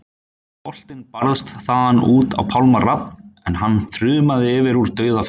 Boltinn barst þaðan út á Pálma Rafn en hann þrumaði yfir úr dauðafæri.